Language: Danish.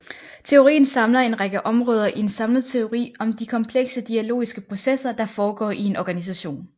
Teorien samler en række områder i en samlet teori om de komplekse dialogiske processer der foregår i en organisation